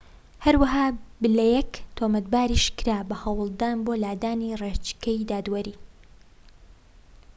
هەرەوەها بلەیک تۆمەتباریش کرا بە هەوڵدان بۆ لادانی ڕێچکەی دادوەری